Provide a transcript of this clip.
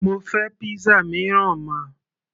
mo fẹ́ pizza mìíràn ma